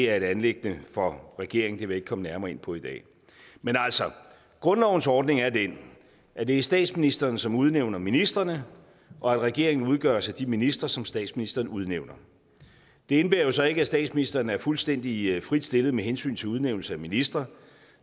er et anliggende for regeringen det vil jeg ikke komme nærmere ind på i dag men altså grundlovens ordning er den at det er statsministeren som udnævner ministrene og at regeringen udgøres af de ministre som statsministeren udnævner det indebærer jo så ikke at statsministeren er fuldstændig frit stillet med hensyn til udnævnelse af ministre